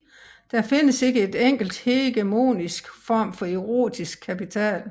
Der findes ikke en enkelt hegemonisk form for erotisk kapital